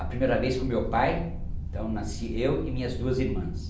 A primeira vez com meu pai, então nasci eu e minhas duas irmãs.